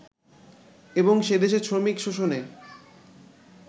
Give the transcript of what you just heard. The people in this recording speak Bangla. এবং সেদেশে শ্রমিক শোষণে